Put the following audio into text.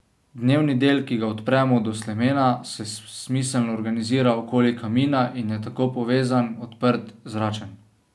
Dnevni del, ki ga odpremo do slemena, se smiselno organizira okoli kamina in je tako povezan, odprt, zračen.